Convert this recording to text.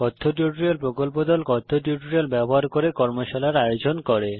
কথ্য টিউটোরিয়াল প্রকল্প দল কথ্য টিউটোরিয়াল ব্যবহার করে কর্মশালার আয়োজন করে